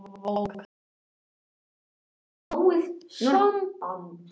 Lítið hefur verið um óhöpp